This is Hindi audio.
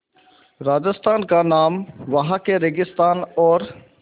राजस्थान का नाम वहाँ के रेगिस्तान और